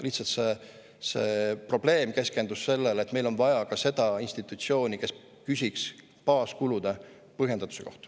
Lihtsalt see probleem keskendus sellele, et meil on vaja ka seda institutsiooni, kes küsiks baaskulude põhjendatuse kohta.